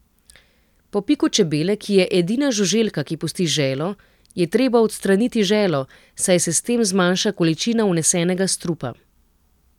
Po piku čebele, ki je edina žuželka, ki pusti želo, je treba odstraniti želo, saj se s tem zmanjša količina vnesenega strupa.